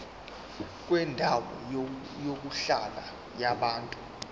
kwendawo yokuhlala yabantu